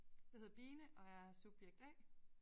Jeg hedder Bine og er subjekt A